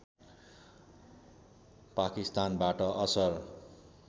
पाकिस्तानबाट असर